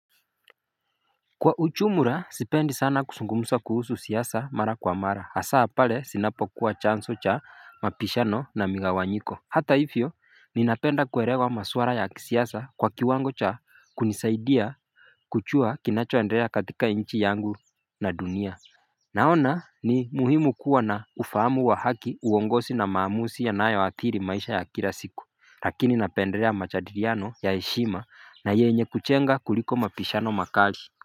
Kwa uchumla sipendi sana kusungumusa kuhusu siyasa mara kwa mara hasa pale sinapo kuwa chanso cha mapishano na migawanyiko Hata hivyo ninapenda kuerewa maswara ya kisiyasa kwa kiwango cha kunisaidia kuchua kinachoendrea katika inchi yangu na dunia Naona ni muhimu kuwa na ufahamu wa haki uwongosi na maamusi yanayo athiri maisha ya kila siku lakini napenderea machadiriano ya heshima na yenye kuchenga kuliko mapishano makali.